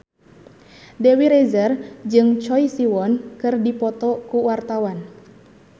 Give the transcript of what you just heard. Dewi Rezer jeung Choi Siwon keur dipoto ku wartawan